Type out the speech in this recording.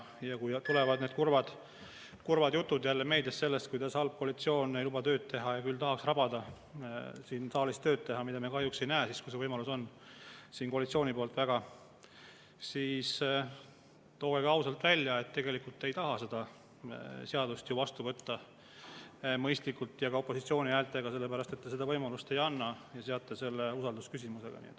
Kui tulevad jälle need kurvad jutud meedias sellest, kuidas halb ei luba tööd teha ja küll tahaks siin saalis tööd rabada – mida me kahjuks ei näe siis, kui see võimalus on, siin koalitsiooni poolt nii väga –, siis tooge ka ausalt välja, et tegelikult te ei taha seda seadust vastu võtta mõistlikult ja ka opositsiooni häältega, sest te seda võimalust ei anna ja seote selle usaldusküsimusega.